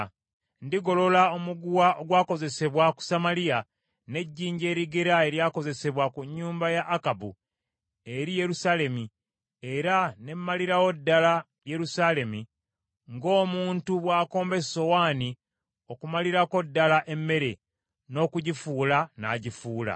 Ndigolola omuguwa ogwakozesebwa ku Samaliya n’ejjinja erigera eryakozesebwa ku nnyumba ya Akabu eri Yerusaalemi, era ne mmalirawo ddala Yerusaalemi ng’omuntu bw’akomba esowaani okumalirako ddala emmere, n’okugifuula n’agifuula.